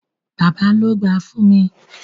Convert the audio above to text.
Bàbá ló gbáà fún mi.